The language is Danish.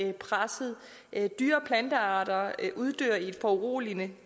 er presset dyre og plantearter uddør i et foruroligende